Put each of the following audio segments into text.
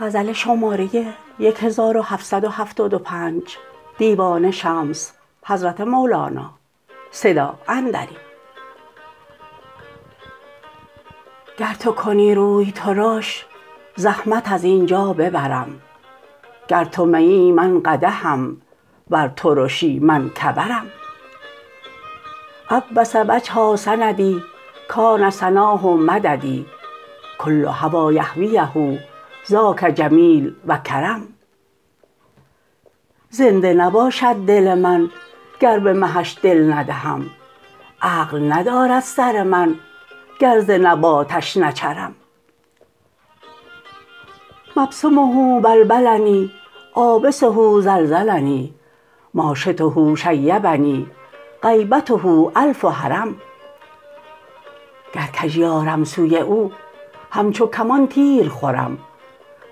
گر تو کنی روی ترش زحمت از این جا ببرم گر تو میی من قدحم ور ترشی من کبرم عبس وجها سندی کان سناه مددی کل هوی یهویه ذاک جمیل و کرم زنده نباشد دل من گر به مهش دل ندهم عقل ندارد سر من گر ز نباتش نچرم مبسمه بلبلنی عابسه زلزلنی ما شطه شیبنی غیبته الف هرم گر کژی آرم سوی او همچو کمان تیر خورم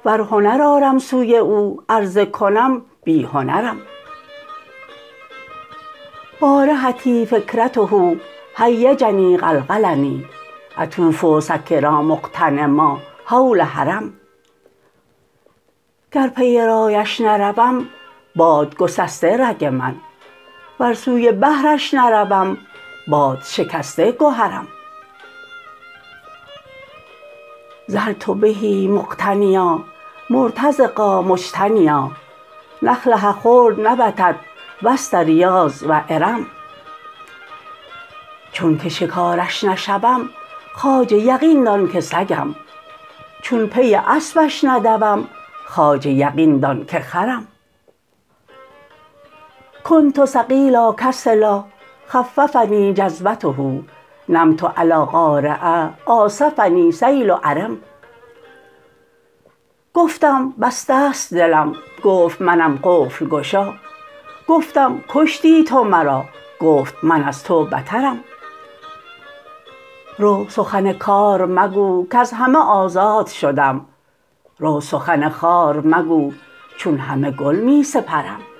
ور هنر آرم سوی او عرضه کنم بی هنرم بارحتی فکرته هیجنی قلقلنی قمت اطوف سکرا مغتنما حول حرم گر پی رایش نروم باد گسسته رگ من ور سوی بحرش نروم باد شکسته گهرم ظلت به مقتنیا مرتزقا مجتنیا نخله خلد نبتت وسط ریاض و ارم چونک شکارش نشوم خواجه یقین دان که سگم چون پی اسپش ندوم خواجه یقین دان که خرم کنت ثقیلا کسلا خففنی جذبته نمت علی قارعه عاصفنی سیل عرم گفتم بسته ست دلم گفت منم قفل گشا گفتم کشتی تو مرا گفت من از تو بترم رو سخن کار مگو کز همه آزاد شدم رو سخن خار مگو چون همه گل می سپرم